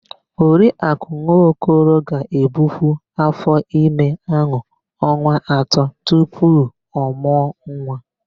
Oriakụ Nwokoro ga-ebukwu áfọ́ime áhụ̀ ọnwa atọ tupu ọ mụọ nwa.